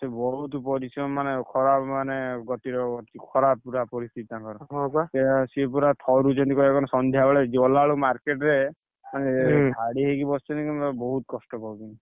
ସିଏ ବହୁତ ପରିଶ୍ରମ ମାନେ ଖରାପ ମାନେ ଗତିର ଖରାପ ପୁରା ପରିସ୍ଥିତି ତାକଣର ସିଏ ପୁରା ଥରୁଛନ୍ତି କହିଆକୁ ଗନେ ସନ୍ଧ୍ୟାବେଳେ ଗଲାବେଳକୁ market ରେ, ମାନେ ଧାଡ଼ି ହେଇକି ବସିଛନ୍ତି ବହୁତ କଷ୍ଟ ପାଉଛନ୍ତି।